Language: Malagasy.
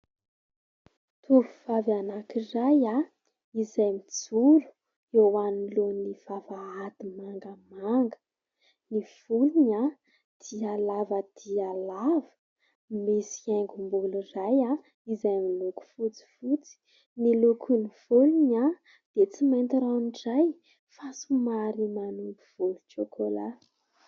Tovovavy anankiray izay mijoro eo anoloan'ny vavahady mangamanga, ny volony dia lava dia lava, misy haingom-bolo iray izay miloko fotsifotsy. Ny lokon'ny volony dia tsy mainty ranoray fa somary manompo volontsôkôla.